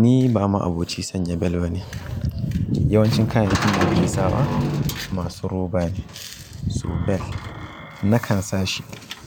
Ni ba ma aboci sanya bel bane. Yawancin kayayyakin da nake sawa masu roba ne, so bel nakan sa shi